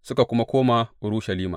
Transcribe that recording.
Suka koma Urushalima.